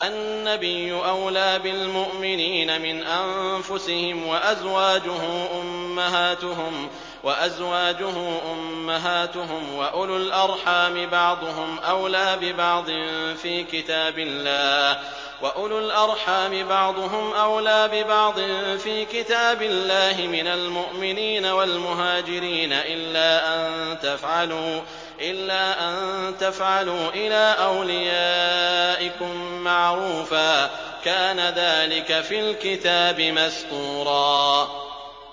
النَّبِيُّ أَوْلَىٰ بِالْمُؤْمِنِينَ مِنْ أَنفُسِهِمْ ۖ وَأَزْوَاجُهُ أُمَّهَاتُهُمْ ۗ وَأُولُو الْأَرْحَامِ بَعْضُهُمْ أَوْلَىٰ بِبَعْضٍ فِي كِتَابِ اللَّهِ مِنَ الْمُؤْمِنِينَ وَالْمُهَاجِرِينَ إِلَّا أَن تَفْعَلُوا إِلَىٰ أَوْلِيَائِكُم مَّعْرُوفًا ۚ كَانَ ذَٰلِكَ فِي الْكِتَابِ مَسْطُورًا